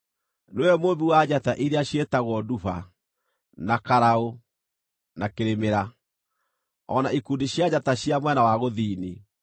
Nĩwe Mũũmbi wa njata iria ciĩtagwo Nduba, na Karaũ, na Kĩrĩmĩra, o na ikundi cia njata cia mwena wa gũthini.